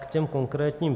K těm konkrétním.